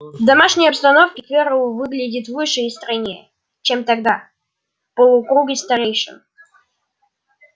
в домашней обстановке ферл выглядел выше и стройнее чем тогда в полукруге старейшин